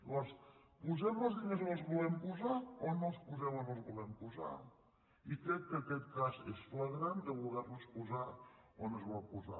llavors posem els diners on els volem posar o no els posem on els volem posar i crec que aquest cas és flagrant de voler los posar on es volen posar